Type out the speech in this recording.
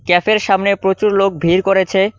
ক্যাফের সামনে প্রচুর লোক ভিড় করেছে।